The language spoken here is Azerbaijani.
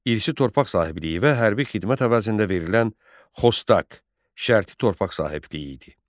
İrsi torpaq sahibliyi və hərbi xidmət əvəzində verilən Xostaq şərti torpaq sahibliyi idi.